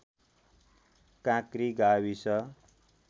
काँक्री गाविस